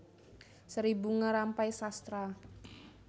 Seri Bunga Rampai Sastra